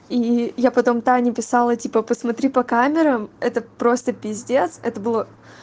и я потом тане писала типа посмотри по камерам это просто пиздец это было